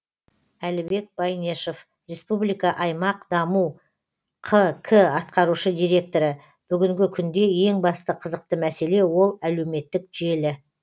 әлібек байнешов республика аймақ даму қк атқарушы директоры бүгінгі күнде ең басты қызықты мәселе ол әлеуметтік желі